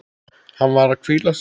Hann var að hvíla sig.